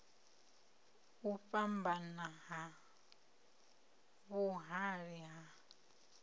u fhambana na vhuhali ha